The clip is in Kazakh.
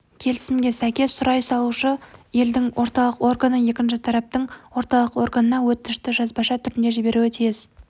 келісімге сәйкес сұрау салушы елдің орталық органы екінші тараптың орталық органына өтінішті жазбаша түрде жіберуі тиіс